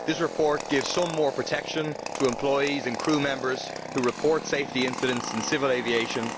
This report gives some additional protection to employees and crew members who report safety incidents in civil aviation.